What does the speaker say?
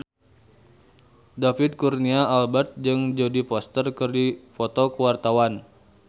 David Kurnia Albert jeung Jodie Foster keur dipoto ku wartawan